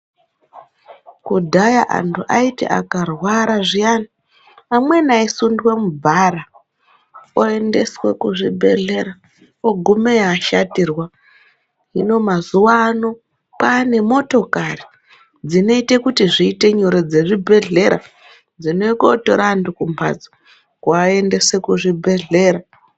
Kudhaya antu aiti akarwara zviyani ,amweni aisundwa mubhara oendeswe kuzvibhehlera ogumeyo ashatirwa. Hino mazuva ano kwanemotokari dzinoite kuti zviite nyore dzezvibhehlera dzinouye kotora antu kumbatso kuaendese kuzvibhehlera.